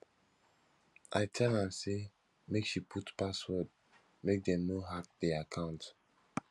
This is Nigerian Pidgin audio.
i tell am say make she put password make dem no hack di account